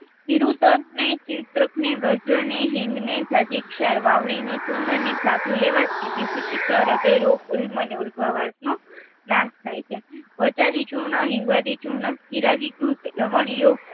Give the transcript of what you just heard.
ચિરૂતરને ચિતરખ ને હિંગને વાવળિનું ચૂર્ણને સાથે લેવાથી વિદુચીખા હ્રદયરોગ ઉલ્મ ને ઉલભાવાંસ નો નાસ થાય છે વચઆદિ ચૂર્ણ હિંગવાદી ચૂર્ણ ચિરાદીચૂથ લવણ્ય